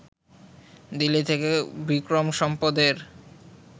দিল্লি থেকে বিক্রম সম্পদের